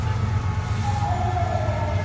Á hælið færu þær ekki.